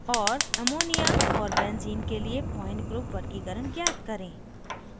और ammonia और benzene के लिए point group वर्गीकरण ज्ञात करें